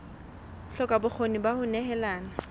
hloka bokgoni ba ho nehelana